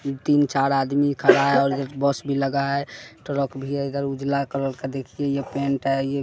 तीन चार आदमी खड़ा है और एक बस भी लगा है ट्रक भी उजला कलर का देखिए यह पेंट है ये--